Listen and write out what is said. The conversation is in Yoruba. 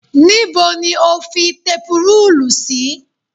Níbo ni o fi tepurúùlù sí?